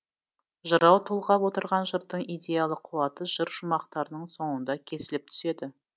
жырау толғап отырған жырдың идеялық қуаты жыр шумақтарының соңында кесіліп түседі